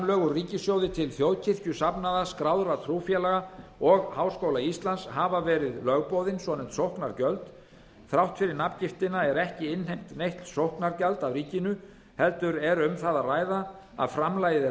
úr ríkissjóði til þjóðkirkjusafnaða skráðra trúfélaga og háskóla íslands hafa verið lögboðin svonefnd sóknargjöld þrátt fyrir nafngiftina eru ekki innheimt nein sóknargjöld af ríkinu heldur er um það að ræða að framlagið er